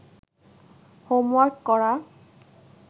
homework করা